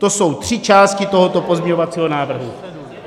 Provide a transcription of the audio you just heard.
To jsou tři části tohoto pozměňovacího návrhu.